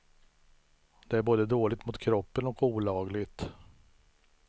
Det är både dåligt mot kroppen och olagligt.